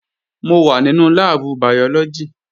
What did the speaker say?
Mò wà nínú láàbù bàyọ́lọ́gì